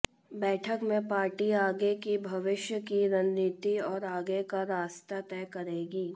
बैठक में पार्टी आगे की भविष्य की रणनीति और आगे का रास्ते तय करेगी